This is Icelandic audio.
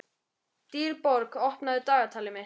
Dýrborg, opnaðu dagatalið mitt.